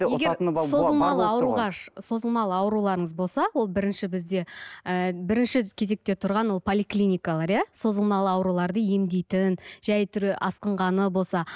созылмалы ауруларыңыз болса ол бірінші бізде ы бірінші кезекте тұрған ол поликлиникалар иә созылмалы ауруларды емдейтін жай түрі асқынғаны болса